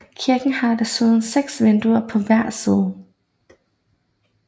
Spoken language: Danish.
Kirken har desuden seks vinduer på hver side